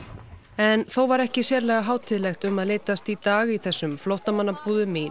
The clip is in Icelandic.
en þó var ekki sérlega hátíðlegt um að litast í dag í þessum flóttamannabúðum í